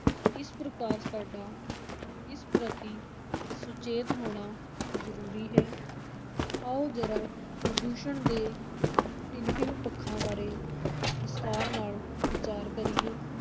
ਇਸ ਪ੍ਰਕਾਰ ਸਾਡਾ ਇਸ ਪ੍ਰਤੀ ਸੁਚੇਤ ਹੋਣਾ ਜ਼ਰੂਰੀ ਹੈ, ਆਓ ਜ਼ਰਾ ਪ੍ਰਦੂਸ਼ਣ ਦੇ ਭਿੰਨ-ਭਿੰਨ ਪੱਖਾਂ ਬਾਰੇ ਵਿਸਥਾਰ ਨਾਲ ਵਿਚਾਰ ਕਰੀਏ।